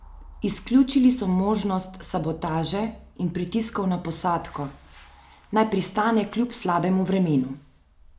Izključili so možnost sabotaže in pritiskov na posadko, naj pristane kljub slabemu vremenu.